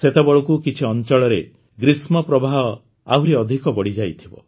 ସେତେବେଳକୁ କିଛି ଅଞ୍ଚଳରେ ଗ୍ରୀଷ୍ମପ୍ରବାହ ଆହୁରି ଅଧିକ ବଢ଼ିଯାଇଥିବ